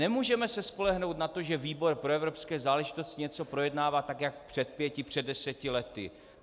Nemůžeme se spolehnout na to, že výbor pro evropské záležitosti něco projednává tak jak před pěti, před deseti lety.